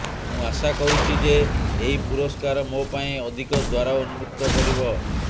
ମୁଁ ଆଶା କରୁଛି ଯେ ଏହି ପୁରସ୍କାର ମୋ ପାଇଁ ଅଧିକ ଦ୍ବାର ଉନ୍ମୁକ୍ତ କରିବ